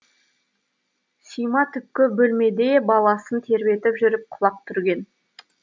сима түпкі бөлмеде баласын тербетіп жүріп құлақ түрген